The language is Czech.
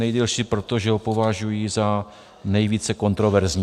Nejdelší proto, že ho považuji za nejvíce kontroverzní.